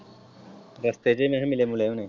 ਰਸਤੇ ਚ ਵੀ ਨਹੀਂ ਮਿਲੇ ਮੁਲੇ ਹੁਣੇ।